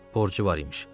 Borcu var imiş.